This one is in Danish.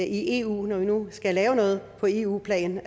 eu når vi nu skal lave noget på eu plan